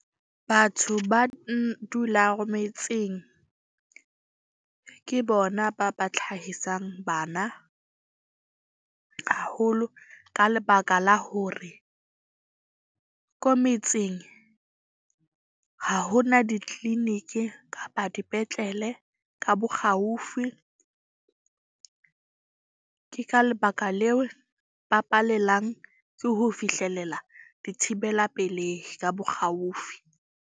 Batho ba metseng ke bona ba ba tlhahisang bana haholo. Ka lebaka la hore ko metseng ha hona di-clinic-i kapa dipetlele ka bokgaufi. Ke ka lebaka leo ba palelang ke ho fihlelela dithibela pelehi ka bokgaufi.